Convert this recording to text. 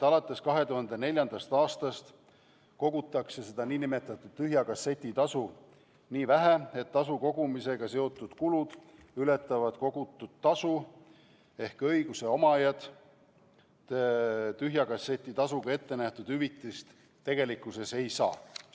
Alates 2004. aastast kogutakse nn tühja kasseti tasu nii vähe, et tasu kogumisega seotud kulud ületavad kogutud tasu, ehk õiguse omajad tühja kasseti tasuga ette nähtud hüvitist tegelikkuses ei saa.